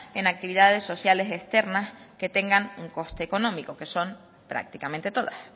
en actividades sociales externas que tengan un coste económico que son prácticamente todas